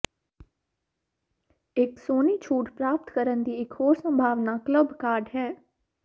ਇੱਕ ਸੋਹਣੀ ਛੂਟ ਪ੍ਰਾਪਤ ਕਰਨ ਦੀ ਇਕ ਹੋਰ ਸੰਭਾਵਨਾ ਕਲੱਬ ਕਾਰਡ ਹੈ